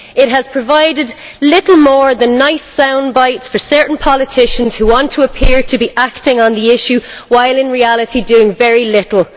It has provided little more than nice sound bites for certain politicians who want to appear to be acting on the issue while in reality doing very little.